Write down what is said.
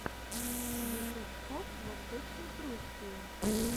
ютуб коп в восточной пруссии